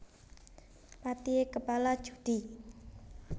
Patihe kepala judhi